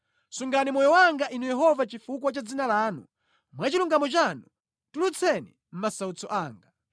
Sungani moyo wanga Inu Yehova chifukwa cha dzina lanu; mwa chilungamo chanu tulutseni mʼmasautso anga.